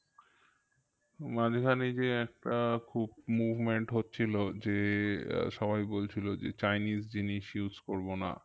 মাঝখানে যে একটা খুব movement হচ্ছিলো যে আহ সবাই বলছিলো যে chinese জিনিস use করবোনা